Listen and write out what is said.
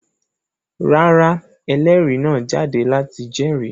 Rárá, ẹlérìí náà jáde láti jẹ́rìí.